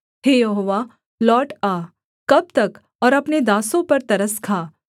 हे यहोवा लौट आ कब तक और अपने दासों पर तरस खा